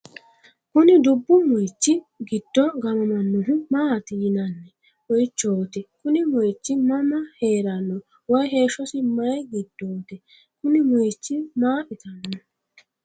kuni dubbu moyiichi giddo gaamamannohu maati yinanni moyiichooti? kuni moyiichi mama heerenno woy heeshshosi mayii giddooti? kuni moyiichi ma itannoho?